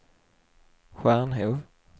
Stjärnhov